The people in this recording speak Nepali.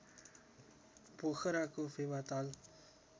पोखराको फेवा ताल